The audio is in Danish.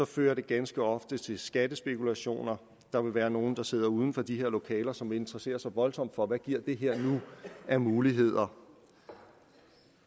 fører det ganske ofte til skattespekulationer der vil være nogle der sidder uden for de her lokaler som interesserer sig voldsomt for hvad giver det her nu af muligheder